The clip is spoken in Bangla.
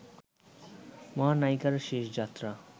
মহানায়িকার শেষ যাত্রা